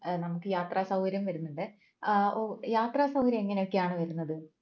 ഏർ നമുക്ക് യാത്രാസൗകര്യം വരുന്നുണ്ടെ ഏർ ഓ യാത്രാ എങ്ങനെയൊക്കെയാണ് വരുന്നത്